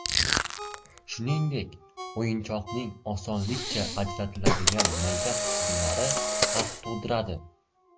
Shuningdek, o‘yinchoqning osonlikcha ajratiladigan mayda qismlari xavf tug‘diradi.